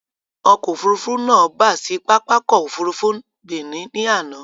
Ọkọ̀ Òfurufú náà bà sì pápákọ̀ Òfurufú Benin ni àná